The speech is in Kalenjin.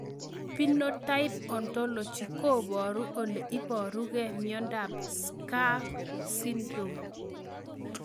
Phenotype ontology koporu ole iparukei miondo SCARF syndrome